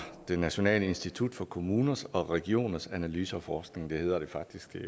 det nationale institut for kommuners og regioners analyse og forskning det hedder det faktisk det